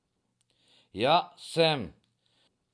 Ja, sem.